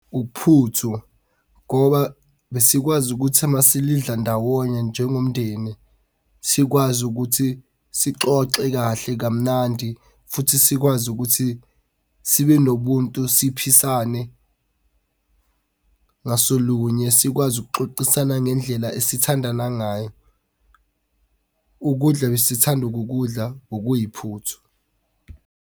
Uphuthu, ngoba besikwazi ukuthi uma silidla ndawonye njengomndeni, sikwazi ukuthi sixoxe kahle kamnandi, futhi sikwazi ukuthi sibe nobuntu siphisane ngasolunye sikwazi ukuxoxisana ngendlela esithandana ngayo. Ukudla besithanda ukukudla bekuyiphuthu.